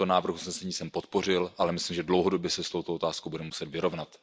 Tento návrh usnesení jsem podpořil, ale myslím, že dlouhodobě se s touto otázkou budeme muset vyrovnat.